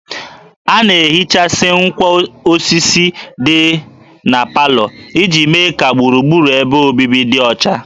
A na-ehichasị ngwá osisi ndị dị na parlour iji mee ka gburugburu ebe obibi dị ọcha